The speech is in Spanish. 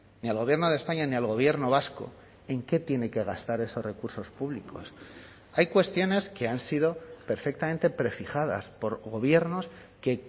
ni al gobierno de españa ni al gobierno vasco en qué tiene que gastar esos recursos públicos hay cuestiones que han sido perfectamente prefijadas por gobiernos que